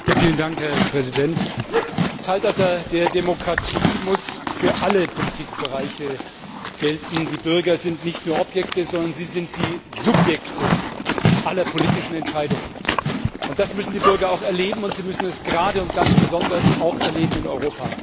Herr Präsident! Im Zeitalter der Demokratie muss für alle Politikbereiche gelten Die Bürger sind nicht nur Objekte, sondern sie sind die Subjekte aller politischen Entscheidungen. Das müssen die Bürger auch erleben, und sie müssen es gerade und ganz besonders auch in Europa erleben.